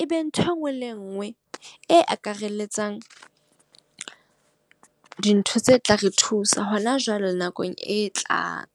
e be ntho e nngwe le e nngwe e akaralletsang dintho tse tla re thusa hona jwale le nakong e tlang.